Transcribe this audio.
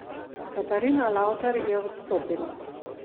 Katarina Lavtar je odstopila.